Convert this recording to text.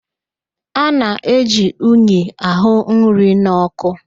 A na-eji unyi àhụ́ nri nọ́kụ́.